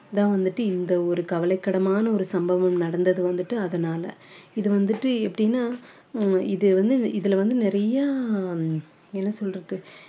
இதான் வந்துட்டு இந்த ஒரு கவலைக்கிடமான ஒரு சம்பவம் நடந்தது வந்துட்டு அதனால இது வந்துட்டு எப்படின்னா அஹ் இது வந்து இதுல வந்து நிறையா என்ன சொல்றது